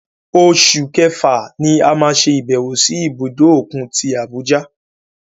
Oṣù Kẹfà ni a máa ṣe ìbẹ̀wò sí ibùdó òkun tí Abuja.